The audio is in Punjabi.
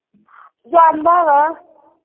ਜਾਂਦਾ ਵਾ।